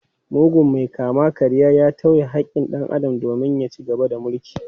Mugun mai kama-karyan ya tauye haƙƙin dan Adam domin ya ci gaba da mulki.